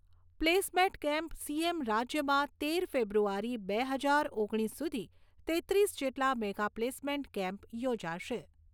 Placement camp CM રાજ્યમાં તેર ફેબ્રુઆરી બે હજાર ઓગણીસ સુધી તેત્રીસ જેટલા મેગા પ્લેસમેન્ટ કેમ્પ યોજાશે.